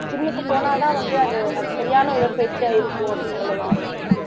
ஜிம்க்கு போனா தான் வந்து அது அது சரியான உடற்பயிற்சியா இருக்கும் அப்படின்னு சொல்ல வர்றீங்களா